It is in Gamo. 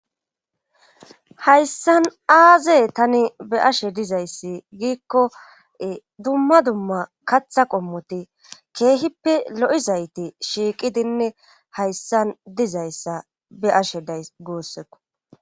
hayssan aaze tani be ashe dizayssi giikko dumma dumma katha qommoti keehippe lo7izayti shiiqidinne hayssan dizayssa be ashe day goosseko